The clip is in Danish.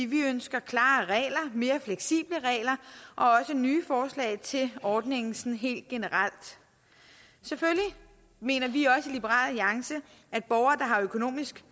vi ønsker klare regler mere fleksible regler og også nye forslag til ordningen helt generelt selvfølgelig mener vi også i liberal alliance at borgere der har økonomisk